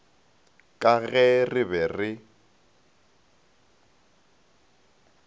ka ge re be re